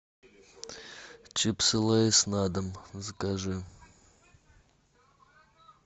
чипсы лейс на дом закажи